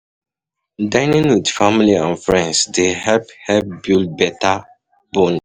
Dining with family and friends dey help help build better bond